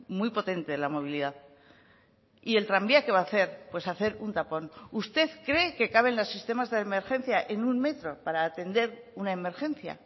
muy potente de la movilidad y el tranvía qué va a hacer pues hacer un tapón usted cree que caben los sistemas de emergencia en un metro para atender una emergencia